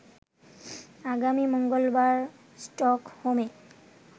আগামী মঙ্গলবার স্টকহোমে